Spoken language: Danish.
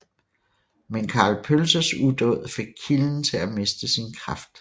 Men Karl Pølses udåd fik kilden til at miste sin kraft